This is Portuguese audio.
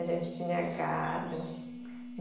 A gente tinha gado.